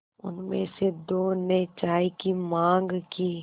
उनमें से दो ने चाय की माँग की